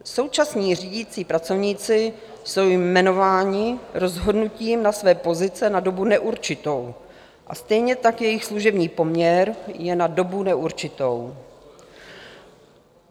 Současní řídící pracovníci jsou jmenováni rozhodnutím na své pozice na dobu neurčitou, a stejně tak jejich služební poměr je na dobu neurčitou.